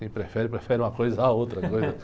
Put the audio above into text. Quem prefere, prefere uma coisa à outra coisa.